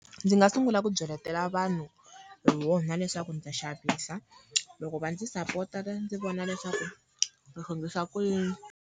Ndzi nga sungula ku byeletela vanhu hi wona leswaku ni ta xavisa, loko va ndzi sapota va ndzi vona leswaku ni swi endlisa ku yini.